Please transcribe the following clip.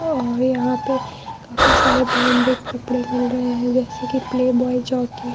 और यहाँ पे काफी सारे ब्रांडेड कपड़े मिल रहे है जैसे कि प्ले बॉय जॉकी ।